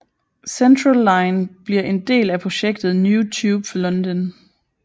Central line bliver en del af projektet New Tube for London